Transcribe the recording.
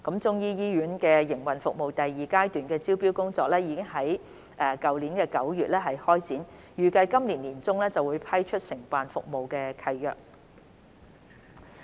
中醫醫院的營運服務第二階段的招標工作已於去年9月開展，預計在今年年中批出承辦服務契約。